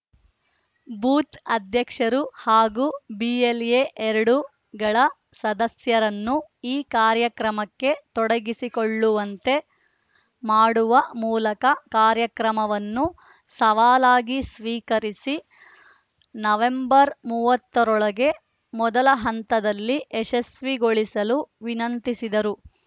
booth ಅಧ್ಯಕ್ಷರು ಹಾಗೂ BLA ಎರಡು ಗಳ ಸದಸ್ಯರನ್ನು ಈ ಕಾರ್ಯಕ್ರಮಕ್ಕೆ ತೊಡಗಿಸಿಕೊಳ್ಳುವಂತೆ ಮಾಡುವ ಮೂಲಕ ಕಾರ್ಯಕ್ರಮವನ್ನು ಸವಾಲಾಗಿ ಸ್ವೀಕರಿಸಿ ನವೆಂಬರ್ ಮೂವತ್ತರೊಳಗೆ ಮೊದಲ ಹಂತದಲ್ಲಿ ಯಶಸ್ವಿಗೊಳ್ಳಿಸಲು ವಿನಂತಿಸಿದರು